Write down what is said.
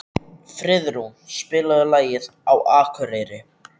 Friðrún, spilaðu lagið „Á Akureyri“.